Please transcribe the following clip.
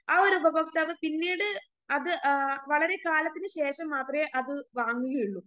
ആ ഒരു ഉപഭോക്താവ് പിന്നീട് അത് ആ വളരെ കാലത്തിനുശേഷം മാത്രവേ അത് വാങ്ങുകയുള്ളൂ